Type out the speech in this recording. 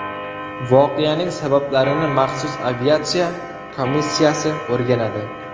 Voqeaning sabablarini maxsus aviatsiya komissiyasi o‘rganadi.